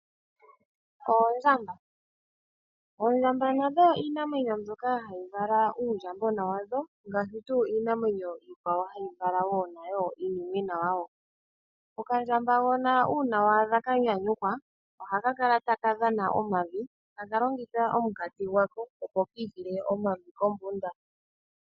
Oondjamba, oondjamba nadho iinamwenyo mbyoka hayi vala uundjambona wadho ngaashi tuu iinamwenyo iikwawo hayi vala uunimwena wayo. Okandjambagona uuna waadha yanyanyukwa ohaka kala takadhana omavi takalongitha omukati gwako, opo kiitile omavi kombunda.